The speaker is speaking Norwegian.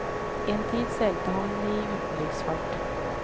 En tid seilte han i utenriksfart.